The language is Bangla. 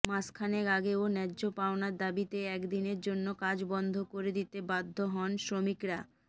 মাসখানেক আগেও ন্যায্য পাওনার দাবিতে একদিনের জন্য কাজ বন্ধ করে দিতে বাধ্য হন শ্রমিকরা